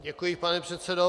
Děkuji, pane předsedo.